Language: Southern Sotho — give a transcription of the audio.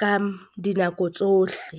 ka dinako tsohle.